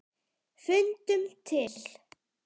Fundum til.